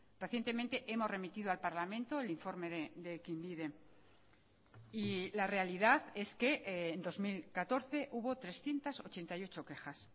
recientemente hemos remitido al parlamento el informe de ekinbide y la realidad es que en dos mil catorce hubo trescientos ochenta y ocho quejas